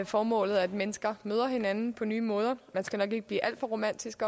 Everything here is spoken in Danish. formål at mennesker møder hinanden på nye måder man skal nok ikke blive alt for romantisk